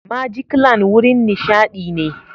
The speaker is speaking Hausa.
Majiklan wurin nishaɗi ne.